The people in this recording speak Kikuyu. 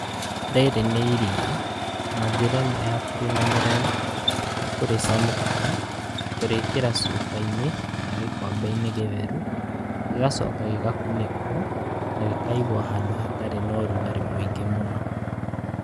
Rĩrĩ nĩ iria, na njĩra ĩmwe ya kũrĩmenyerera nĩ kũrĩcemũukia, kũrĩkĩra cubainĩ kana gĩkombe-inĩ gĩtheru gĩgacoka gĩgakunĩkwo na gĩkaigwo handũ hatarĩ na ũrugarĩ mũingĩ mũno.